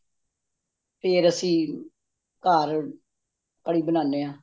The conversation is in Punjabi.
ਫੇਰ ਅੱਸੀ ਘਰ ਕੜੀ ਬਣਾਨੇ ਹਾਂ